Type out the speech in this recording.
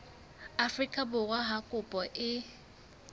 afrika borwa ha kopo e